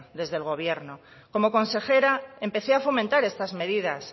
desde el gobierno como consejera empecé a fomentar estas medidas